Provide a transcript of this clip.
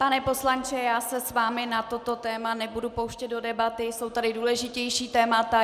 Pane poslanče, já se s vámi na toto téma nebudu pouštět do debaty, jsou tady důležitější témata.